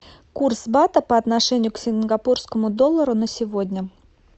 курс бата по отношению к сингапурскому доллару на сегодня